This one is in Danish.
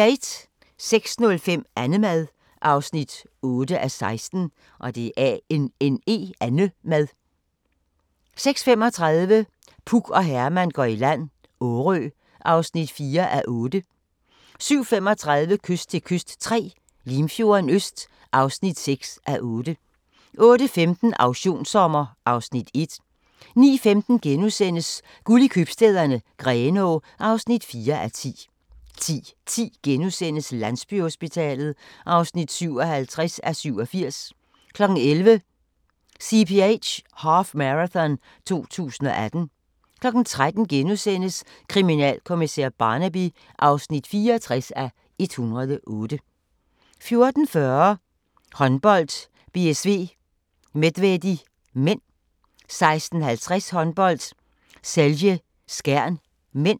06:05: Annemad (8:16) 06:35: Puk og Herman går i land - Årø (4:8) 07:35: Kyst til kyst III – Limfjorden Øst (6:8) 08:15: Auktionssommer (Afs. 1) 09:15: Guld i Købstæderne - Grenaa (4:10)* 10:10: Landsbyhospitalet (57:87)* 11:00: CPH Half Marathon 2018 13:00: Kriminalkommissær Barnaby (64:108)* 14:40: Håndbold: BSV-Medvedi (m) 16:50: Håndbold: Celje-Skjern (m)